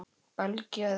Belgía eða Ísland?